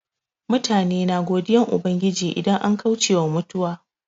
Mutane na godiyan Ubangiji idan an kauce wa mutuwa.